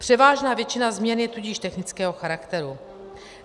Převážná většina změn je tudíž technického charakteru.